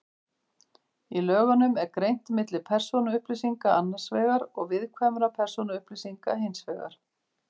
Í lögunum er greint milli persónuupplýsinga annars vegar og viðkvæmra persónuupplýsinga hins vegar.